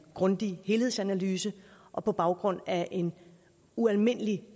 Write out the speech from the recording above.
grundig helhedsanalyse og på baggrund af en ualmindelig